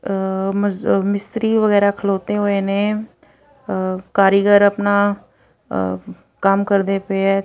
ਮਿਸਤਰੀ ਵਗੈਰਾ ਖਲੋਤੇ ਹੋਏ ਨੇ ਕਾਰੀਗਰ ਆਪਣਾ ਕੰਮ ਕਰਦੇ ਪਏ ਆ।